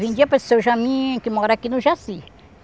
Vendiam para Seu Jamin, que mora aqui no Jaci.